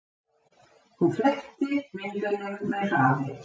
Hún fletti myndunum með hraði.